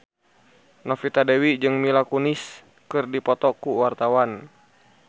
Novita Dewi jeung Mila Kunis keur dipoto ku wartawan